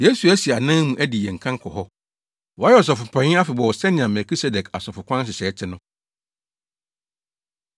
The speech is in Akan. Yesu asi yɛn anan mu adi yɛn kan kɔ hɔ. Wayɛ Ɔsɔfopanyin afebɔɔ sɛnea Melkisedek asɔfokwan nhyehyɛe te no.